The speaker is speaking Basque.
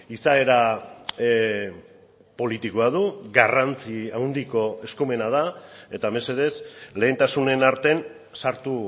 izaera politikoa du garrantzi handiko eskumena da eta mesedez lehentasunen artean sartu